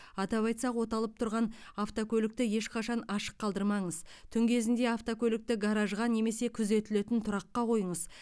атап айтсақ оталып тұрған автокөлікті ешқашан ашық қалдырмаңыз түн кезінде автокөлікті гаражға немесе күзетілетін тұраққа қойыңыз